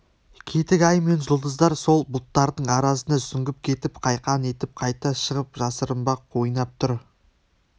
кетік ай мен жұлдыздар сол бұлттардың арасына сүңгіп кетіп қайқаң етіп қайта шығып жасырынбақ ойнап тұр